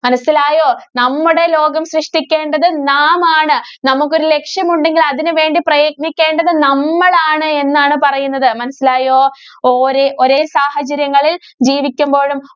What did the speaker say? മനസ്സിലായോ? നമ്മുടെ ലോകം സൃഷ്ടിക്കേണ്ടത് നാം ആണ്. നമുക്ക് ഒരു ലക്ഷ്യമുണ്ടെങ്കില്‍ അതിനു വേണ്ടി പ്രയത്നിക്കേണ്ടത് നമ്മളാണ് എന്നാണ് പറയുന്നത്. മനസ്സിലായോ? ഓരേ ഒരേ സാഹചര്യങ്ങളില്‍ ജീവിക്കുമ്പോഴും